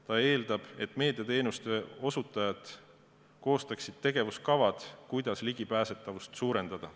Ta eeldab, et meediateenuste osutajad koostavad tegevuskavad, kuidas ligipääsetavust suurendada.